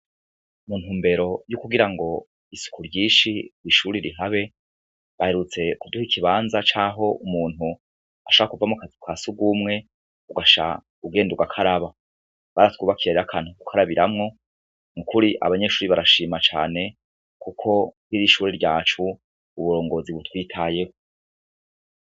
Muntu mbero y'ukugira ngo isuku ryinshi woishuri rihabe baherutse kuduha ikibanza caho umuntu asha kuva mu kazi kwa si ugumwe ugasha ugendu rwa k'araba baratwubakirarira kantu kukoarabiramwo mukuri abanyeshuri barashima cane, kuko ntiri ishuri ryacu uburongore zibu twitayeho.